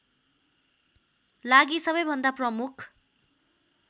लागि सबैभन्दा प्रमुख